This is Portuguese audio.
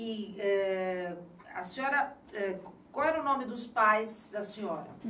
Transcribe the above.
E eh... a senhora, qual era o nome dos pais da senhora?